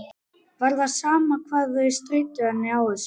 Það var sama hvað þau stríddu henni á þessu.